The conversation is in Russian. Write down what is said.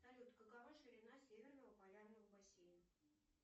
салют какова ширина северного полярного бассейна